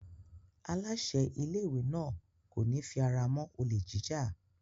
Aláṣẹ ilé-ìwé náà kò ní fi ara mọ́ olè jíjà.